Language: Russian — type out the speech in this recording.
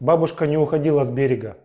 бабушка не уходила с берега